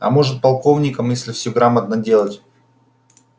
а может полковником если всё грамотно делать